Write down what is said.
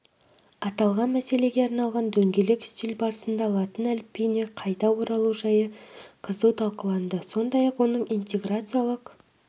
аталған мәселеге арналған дөңгелек үстел барысында латын әліпбиіне қайта оралу жайы қызу талқыланды сондай-ақ оның интеграциялық